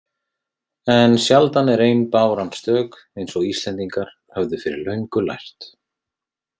En sjaldan er ein báran stök, eins og Íslendingar höfðu fyrir löngu lært.